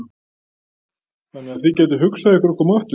Þannig að þið gætuð hugsað ykkur að koma aftur?